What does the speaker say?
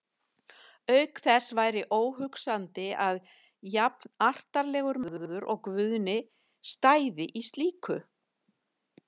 Auk þess væri óhugsandi að jafnartarlegur maður og Guðni stæði í slíku.